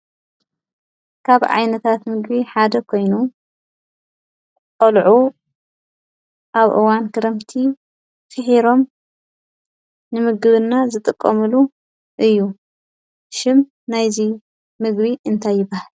ካብ ዓይነታት ምግቢ ሓደ ኮይኑ ቆሊዑ ኣብ እዋነ ክርምቲ ፍሒሮሞ ንምግብና ዝጥቀምሉ እዩ። ሽም ናይ እዚ ምግቢ እንታይ ይበሃል?